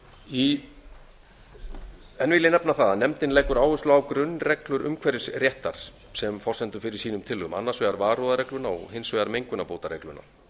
enn vil ég nefna það að nefndin leggur áherslu á grunnreglur umhverfisréttar sem forsendu fyrir sínum tillögum annars vegar varúðarregluna og hins vegar mengunarbótaregluna